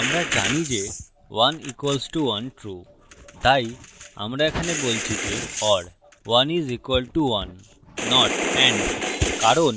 আমরা জানি যে 1 equals to 1 true তাই আমরা এখানে বলছি যে or 1 is equal to 1 not and কারণ